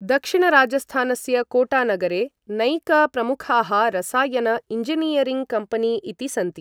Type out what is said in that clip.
दक्षिणराजस्थानस्य कोटानगरे नैक प्रमुखाः रसायन इञ्जिनीयरिङ्ग् कम्पनी इति सन्ति।